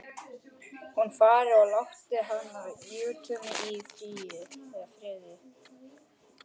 Hún fari og láti hana, Júlíu, í friði.